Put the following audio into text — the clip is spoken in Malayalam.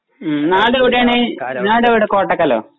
ഉം നാടെവിടാണ് നാടെവിടെ കോട്ടക്കലോ